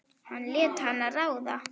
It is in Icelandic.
Hann lét hana ráða.